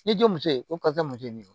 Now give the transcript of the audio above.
N'i jo muso ye ko karisa muso ye nin ye